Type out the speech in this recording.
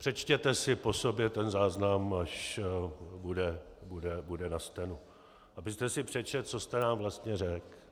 Přečtěte si po sobě ten záznam, až bude na stenu, abyste si přečetl, co jste nám jasně řekl.